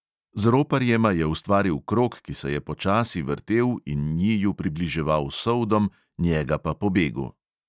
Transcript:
Z roparjema je ustvaril krog, ki se je počasi vrtel in njiju približeval soldom, njega pa pobegu.